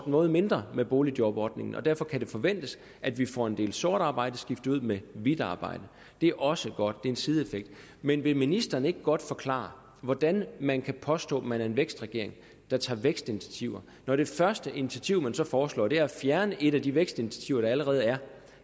noget mindre med boligjobordningen og derfor kan det forventes at vi får en det sorte arbejde skiftet ud med hvidt arbejde det er også godt det er en sideeffekt men vil ministeren ikke godt forklare hvordan man kan påstå at man er en vækstregering der tager vækstinitiativer når det første initiativ man så foreslår er at fjerne et af de vækstinitiativer der allerede er